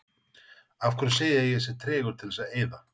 Af hverju segið þið að ég sé tregur til þess að eyða?